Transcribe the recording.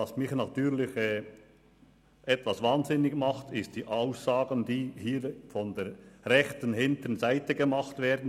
Was mich hingegen sehr ärgert, sind – vom Rednerpult aus gesehen – Aussagen aus der hinteren rechten Ecke.